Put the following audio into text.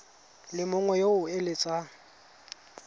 le mongwe yo o eletsang